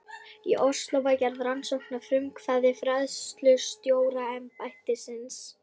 Í Osló var gerð rannsókn að frumkvæði fræðslustjóraembættisins.